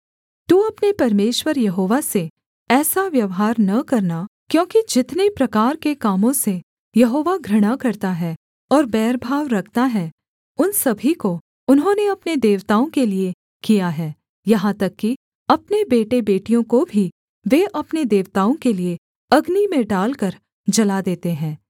तू अपने परमेश्वर यहोवा से ऐसा व्यवहार न करना क्योंकि जितने प्रकार के कामों से यहोवा घृणा करता है और बैरभाव रखता है उन सभी को उन्होंने अपने देवताओं के लिये किया है यहाँ तक कि अपने बेटेबेटियों को भी वे अपने देवताओं के लिये अग्नि में डालकर जला देते हैं